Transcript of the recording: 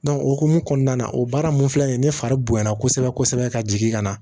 o hokumu kɔnɔna na o baara mun filɛ nin ye ne fari bonya na kosɛbɛ ka jigin ka na